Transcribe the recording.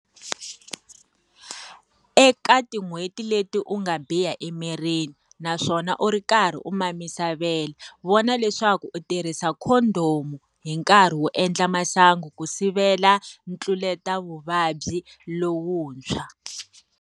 Eka tin'hweti leti u nga biha emirini, naswona u ri karhi u mamisa vele, vona leswaku u tirhisa khondomu hi nkarhi wo endla masangu ku sivela ntluletavuvabyi lowuntshwa.